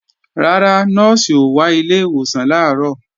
Rárá, Nọ́ọ̀sì ò wá ilé ìwòsàn làárọ̀